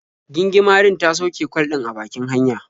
Gingimarin ta sauke kwal ɗin a bakin hanya.